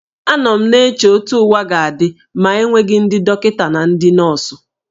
Anọ m na-eche otú ụwa ga-adị ma enweghị ndị dọkịta na ndị nọọsụ